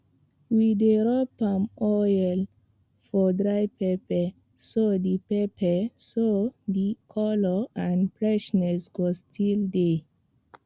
we dey rub palm oil for dry pepper so the pepper so the colour and freshness go still dey